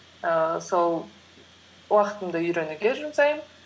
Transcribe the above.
ііі сол уақытымды үйренуге жұмсаймын